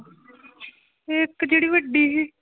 ਇੱਕ ਜਿਹੜੀ ਵੱਡੀ ਸੀ।